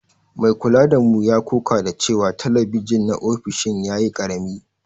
Mai kula da mu ya ƙoƙa da cewa talabijin na ofishin ya yi ƙarami.